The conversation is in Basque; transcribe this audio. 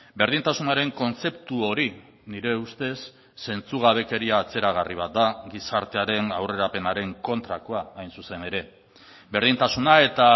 berdintasunaren kontzeptu hori nire ustez zentzugabekeria atzeragarri bat da gizartearen aurrerapenaren kontrakoa hain zuzen ere berdintasuna eta